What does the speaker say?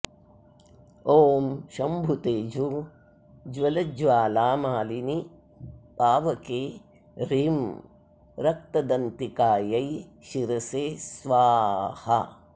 ॐ शम्भुतेजो ज्वलज्वालामालिनि पावके ह्रीं रक्तदन्तिकायै शिरसे स्वाहा